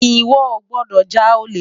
Iwò ó gbòdò já ólé